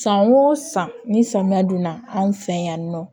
San o san ni samiya donna anw fɛ yan nɔ